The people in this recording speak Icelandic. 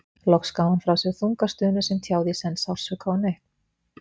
Þá loks gaf hún frá sér þunga stunu sem tjáði í senn sársauka og nautn.